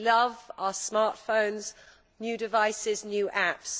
we love our smartphones, new devices, new apps.